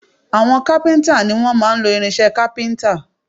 Àwọn kápíntà ni wọ́n máa ń lo irinsẹ́ kápíntà